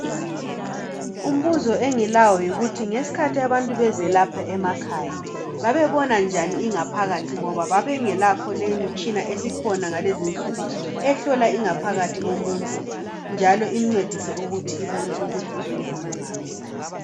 Umbuzo engilawo yikuthi ngesikhathi abantu bezelapha emakhaya babebonanjani ingaphakathi ngoba babengelayo leyimitshina esikhona ngalezinsuku ehlola ingaphakathi yomuntu njalo imncedise ukuthi ibone ukuthi uhlupho lungaphi.